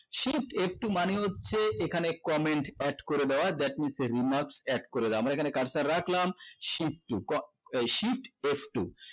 shift f two মানেই হচ্ছে এখানে comment add করে দেওয়া that means এর remark add করে দেওয়া আমরা এখানে কাজটা রাখলাম shift two ক~এই shift f two